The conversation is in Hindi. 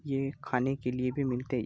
ये खाने के लिए भी मिलते --